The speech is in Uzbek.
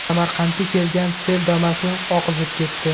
Samarqandga kelgan sel Damas’ni oqizib ketdi .